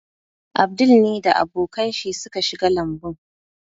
Abdul ne da abokan shi suka shiga lambun.